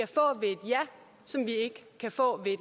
ja som vi ikke kan få ved